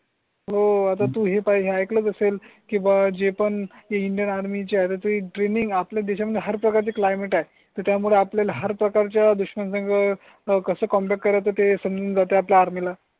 हो आता तुम्ही पाहिजे ऐकलं असेल किंवा जे पण इंडियन आर्मी च्या तरी ड्रीमिंग आपल्या देशामध्ये हार प्रकार चे क्लाइमेट आहे. तर त्यामुळे आपल्याला हर प्रकारच्या दुश्मन संग की कस कमबॅक करायचं ते समजून जाते? आपल्या आर्मी ला